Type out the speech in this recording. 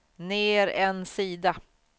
ner en sida